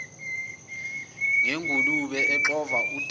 nengulube exova udaka